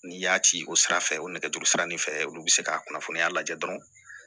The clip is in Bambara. N'i y'a ci o sira fɛ o nɛgɛjuru sira ni fɛ olu bɛ se ka kunnafoniya lajɛ dɔrɔn